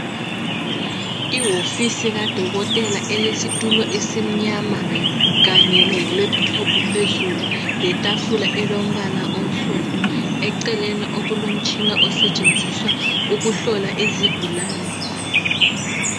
Iwofisi kadokotela elesitulo esimnyama kanye leLaptop phezulu letafula elombala onsundu eceleni okulomtshina osetshenziswa ukuhlola izigulane.